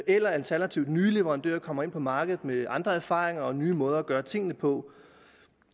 alternativt at nye leverandører kommer ind på markedet med andre erfaringer og nye måder at gøre tingene på